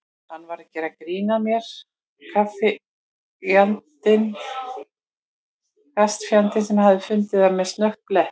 Hann var að gera grín að mér karlfjandinn, hann hafði fundið á mér snöggan blett.